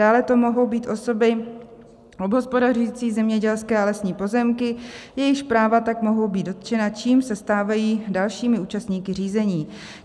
Dále to mohou být osoby obhospodařující zemědělské a lesní pozemky, jejichž práva tak mohou být dotčena, čímž se stávají dalšími účastníky řízení.